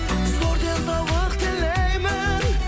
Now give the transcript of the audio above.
зор денсаулық тілеймін